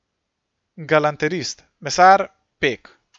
Galanterist, mesar, pek.